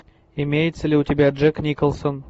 имеется ли у тебя джек николсон